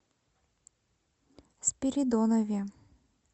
спиридонове